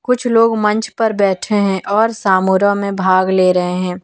कुछ लोग मंच पर बैठे हैं और सामूरह में भाग ले रहे हैं।